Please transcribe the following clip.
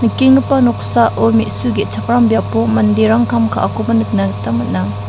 nikenggipa noksao me·su ge·chakram biapo manderang kam ka·akoba nikna gita man·a.